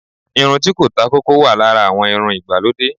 irun ti ko ta koko, wa Lara awon irún ìgbalòdé.